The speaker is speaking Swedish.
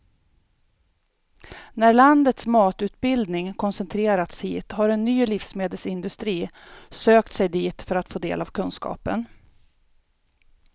När landets matutbildning koncentrerats hit har en ny livsmedelsindustri sökt sig dit för att få del av kunskapen.